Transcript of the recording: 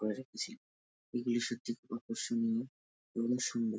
করে রেখেছে। এগুলো সত্যি খুব আকর্ষনীয় এবং সুন্দর।